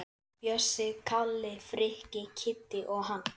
Bjössi, Kalli, Frikki, Kiddi og hann.